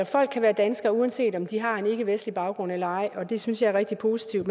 folk kan være danskere uanset om de har en ikkevestlig baggrund og det synes jeg er rigtig positivt